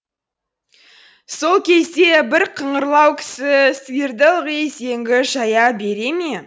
сол кезде бір қыңырлау кісі сиырды ылғи зеңгі жая бере ме